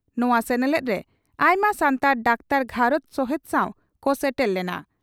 ᱱᱚᱣᱟ ᱥᱮᱱᱮᱞᱮᱫᱨᱮ ᱟᱭᱢᱟ ᱥᱟᱱᱛᱟᱲ ᱰᱟᱠᱛᱟᱨ ᱜᱷᱟᱨᱚᱸᱡᱽ ᱥᱚᱦᱮᱛ ᱥᱟᱣ ᱠᱚ ᱥᱮᱴᱮᱨ ᱞᱮᱱᱟ ᱾